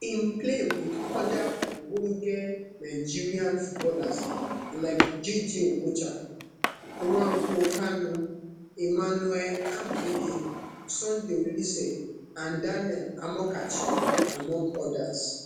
im play wit oda ogbonge nigerian footballers like jayjay okocha nwankwo kanu emmanuel amuneke sunday oliseh and daniel amokachi among others